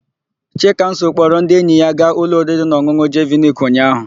Chikamso kpọrọ ndị enyi ya gaa ụlọ oririnaọn̄ụn̄ụ Jeviniki ụnyaahụ.